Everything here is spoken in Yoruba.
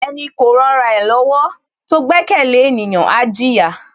Ẹni kò ran ra ẹ lọ́wọ́ tó gbẹ́kẹ̀lé ènìyàn, á jìyà.